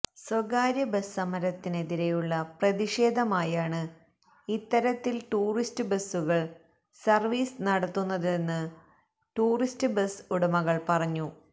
സ്വകാര്യ ബസ് സമരത്തിനെതിരെയുള്ള പ്രതിഷേധമായാണ് ഇത്തരത്തില് ടൂറിസ്റ്റ് ബസുകള് സര്വീസ് നടത്തുന്നതെന്ന് ടൂറിസ്റ്റ് ബസ് ഉടമകള് പറഞ്ഞു